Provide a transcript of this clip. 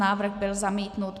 Návrh byl zamítnut.